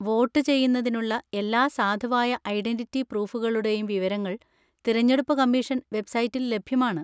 Vote ചെയ്യുന്നതിനുള്ള എല്ലാ സാധുവായ ഐഡന്‍റിറ്റി പ്രൂഫുകളുടെയും വിവരങ്ങൾ തിരഞ്ഞെടുപ്പ് കമ്മീഷൻ വെബ്സൈറ്റിൽ ലഭ്യമാണ്.